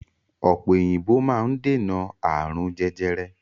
Ọ̀pẹ̀ òyìnbò máa ń dènà ààrùn jẹjẹrẹ.